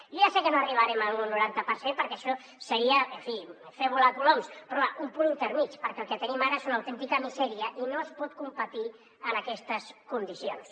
jo ja sé que no arribarem a un noranta per cent perquè això seria en fi fer volar coloms però va un punt intermedi perquè el que tenim ara és una autèntica misèria i no es pot competir en aquestes condicions